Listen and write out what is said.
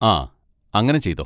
ആ അങ്ങനെ ചെയ്തോ.